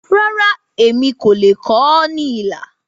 Rárá, èmi kò lè kọ ọ́ ní ilà.